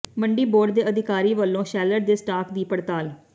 ਮੰਡੀ ਬੋਰਡ ਦੇ ਅਧਿਕਾਰੀ ਵੱਲੋਂ ਸ਼ੈਲਰ ਦੇ ਸਟਾਕ ਦੀ ਪੜਤਾਲ